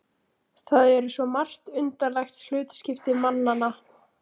Það eru svo margt undarlegt hlutskipti mannanna.